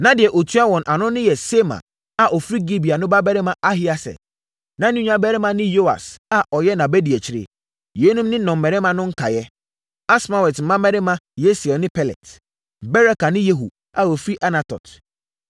Na deɛ ɔtua wɔn ano yɛ Semaa a ɔfiri Gibea no babarima Ahieser. Na ne nuabarima ne Yoas a ɔyɛ nʼabadiakyire. Yeinom ne nnɔmmarima no nkaeɛ: Asmawet mmammarima Yesiel ne Pelet; Beraka ne Yehu a wɔfiri Anatot;